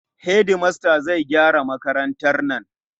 Hedimasta zai gyara makarantar nan.